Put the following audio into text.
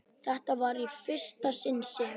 Þetta var í fyrsta sinn sem